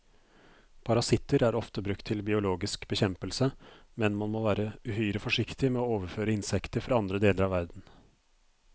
Parasitter er ofte brukt til biologisk bekjempelse, men man må være uhyre forsiktig med å overføre insekter fra andre deler av verden.